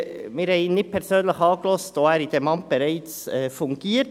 Wir haben ihn nicht persönlich angehört, weil er bereits in diesem Amt fungiert.